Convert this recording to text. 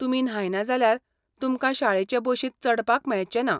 तुमी न्हायना जाल्यार तुमकां शाळेचे बशींत चडपाक मेळचेंना.